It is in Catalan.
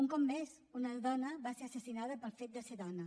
un cop més una dona va ser assassinada pel fet de ser dona